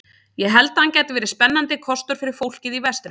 Ég held að hann gæti verið spennandi kostur fyrir fólkið í vestrinu.